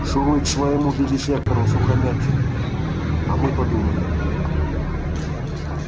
шуруй к своему вивисектору-сухомятщику а мы подумаем